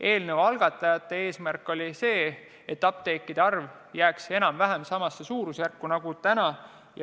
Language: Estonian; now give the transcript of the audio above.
Eelnõu algatajate eesmärk oli jätta apteekide arv enam-vähem samasse suurusjärku nagu täna.